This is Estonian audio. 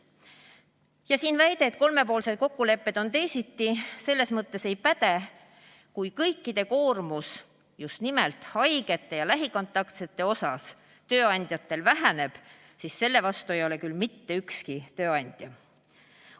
Ja siin väide, et kolmepoolsetes kokkulepetes on teisiti, selles mõttes ei päde, et kui kõikide koormus just nimelt haigete ja lähikontaktsete puhul tööandjatel väheneb, siis selle vastu ei ole küll mitte ükski tööandja.